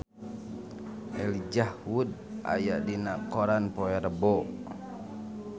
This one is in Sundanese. Elijah Wood aya dina koran poe Rebo